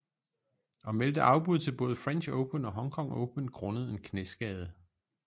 Og meldte afbud til både french open og hong kong open grundet en knæskade